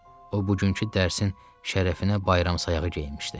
O bugünkü dərsin şərəfinə bayram sayağı geyinmişdi.